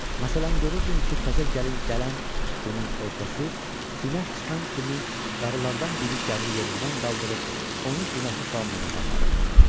Məsələn, görürdün ki, təzə gəlin gələn günün ertəsi günəş çıxan kimi qarılardan biri gəlini yerindən qaldırıb onu günəşi salamlamağa aparırdı.